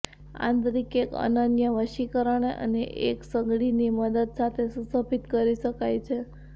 આંતરિક એક અનન્ય વશીકરણ અને એક સગડી ની મદદ સાથે સુશોભિત કરી શકાય છે